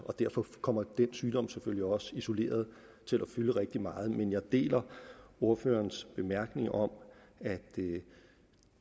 og derfor kommer den sygdom selvfølgelig også isoleret til at fylde rigtig meget men jeg deler ordførerens bemærkning om at